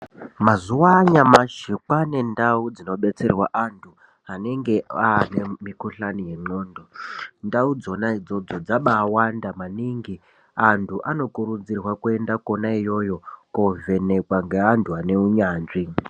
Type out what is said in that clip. Mazuva anyamashi kwane ndau dzinobetserwa antu anenge ane mukuhlani yendxondo ndau dzona idzodzo dzabawanda maningi antu anokurudzirwa kuenda kona iyoyo kunovhenekwa ngeantu ane unyanzvi .